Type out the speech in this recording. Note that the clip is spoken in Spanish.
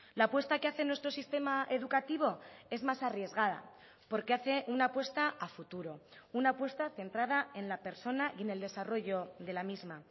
la apuesta que hace nuestro sistema educativo es más arriesgada porque hace una apuesta a futuro una apuesta centrada en la persona y en el desarrollo de la misma